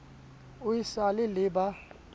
o e sa le ba